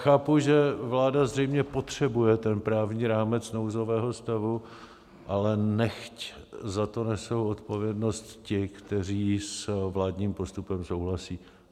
Chápu, že vláda zřejmě potřebuje ten právní rámec nouzového stavu, ale nechť za to nesou odpovědnost ti, kteří s vládním postupem souhlasí.